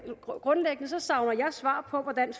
savner jeg svar på hvordan